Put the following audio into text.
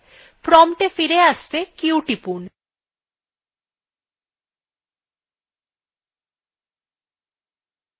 prompt এ ফিরে আসতে q টিপুন